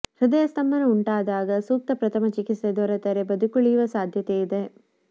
ಹೃದಯ ಸ್ತಂಭನ ಉಂಟಾದಾಗ ಸೂಕ್ತ ಪ್ರಥಮ ಚಿಕಿತ್ಸೆ ದೊರೆತರೆ ಬದುಕಿಯುಳಿಯುವ ಸಾಧ್ಯತೆ ಇದೆ